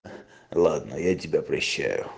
ладно я тебя прощаю